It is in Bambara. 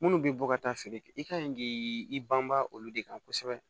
Minnu bɛ bɔ ka taa feere kɛ i ka ɲi k'i banbaa olu de kan kosɛbɛ